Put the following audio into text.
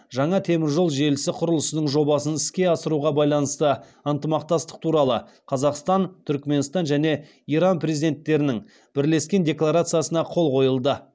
жаңа темір жол желісі құрылысының жобасын іске асыруға байланысты ынтымақтастық туралы қазақстан түрікменстан және иран президенттерінің бірлескен декларациясына қол қойылды